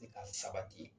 Ka sabati